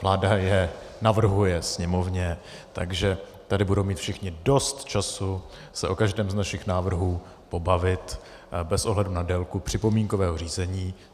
Vláda je navrhuje Sněmovně, takže tady budou mít všichni dost času se o každém z našich návrhů pobavit bez ohledu na délku připomínkového řízení.